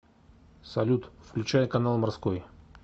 салют включай канал морской